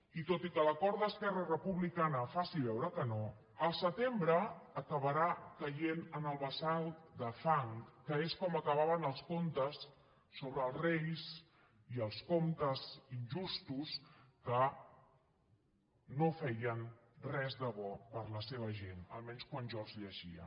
i tot i que l’acord d’esquerra republicana faci veure que no el setembre acabarà caient en el bassal de fang que és com acabaven els contes sobre els reis i els comptes injustos que no feien res de bo per a la seva gent almenys quan jo els llegia